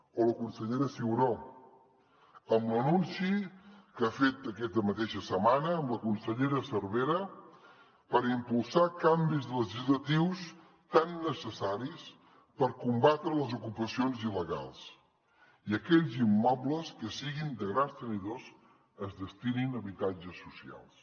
o la consellera ciuró amb l’anunci que ha fet aquesta mateixa setmana amb la consellera cervera per impulsar canvis legislatius tan necessaris per combatre les ocupacions il·legals i que aquells immobles que siguin de grans tenidors es destinin a habitatges socials